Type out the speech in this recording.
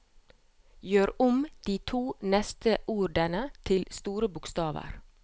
Gjør om de to neste ordene til store bokstaver